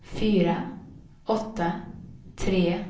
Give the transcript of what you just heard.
fyra åtta tre